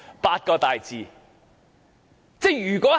八個大字。